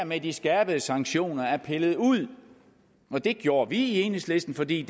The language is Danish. med de skærpede sanktioner er pillet ud det gjorde vi i enhedslisten fordi